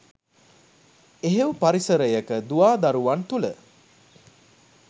එහෙව් පරිසරයක දුවා දරුවන් තුළ